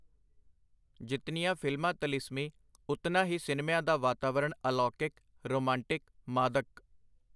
ਜਿਤਨੀਆਂ ਫਿਲਮਾਂ ਤਲਿਸਮੀ, ਉਤਨਾ ਹੀ ਸਿਨਮਿਆਂ ਦਾ ਵਾਤਾਵਰਣ ਅਲੌਕਿਕ, ਰੋਮਾਂਟਿਕ, ਮਾਦਕ.